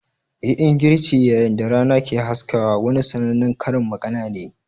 "Yi ingirci yayin da rana ke haskawa" wani sannanen Karin magana ne.